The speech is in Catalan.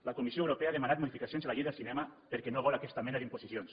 la comissió europea ha demanat modificacions a la llei del cinema perquè no vol aquesta mena d’imposicions